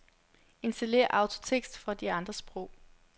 Installér autotekst for andre sprog.